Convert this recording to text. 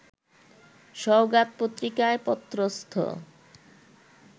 সওগাত পত্রিকায় পত্রস্থ